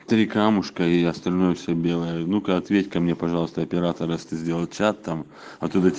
три камушка и остальное все белое внука ответь ка мне пожалуйста оператор это сделать чат там оттуда